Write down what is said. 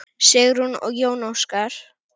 Sigrún og Jón Óskar.